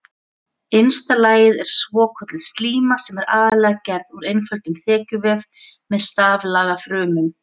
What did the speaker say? Innsta lagið er svokölluð slíma sem er aðallega gerð úr einföldum þekjuvef með staflaga frumum.